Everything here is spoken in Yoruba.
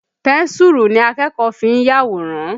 Pẹ́ńsùrù ni akẹ́kọ̀ọ́ fi ń yàwòrán.